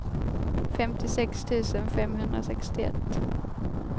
femtiosex tusen femhundrasextioett